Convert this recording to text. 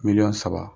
Miliyɔn saba